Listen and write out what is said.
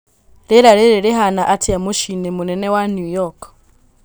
Rĩera rĩrĩ rĩhana atia mũciinĩ mũnene wa new york